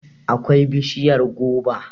akwai bishiyar goba